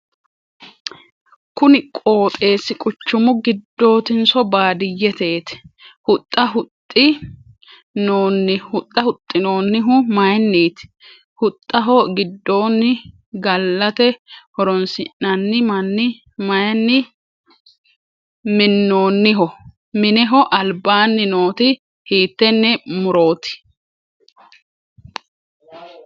Kunni qooxeesi quchumu gidootinso baadiyeteeti? Huxxa huxi noonnihu mayinniiti? Huxxaho gidoonni gallate horoonsi'nanni minni mayinni minoonniho? Mineho albaanni nooti hiitene murooti?